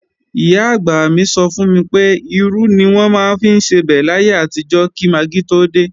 Ìyá-àgbà mi sọ fún mi pé, irú ni wọ́n maá ń fi sebẹ̀ láyé àtijọ́ kí magí tó dé